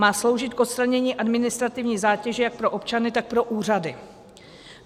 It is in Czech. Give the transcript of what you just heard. Má sloužit k odstranění administrativní zátěže jak pro občany, tak pro úřady.